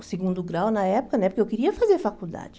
O segundo grau, na época né, porque eu queria fazer faculdade.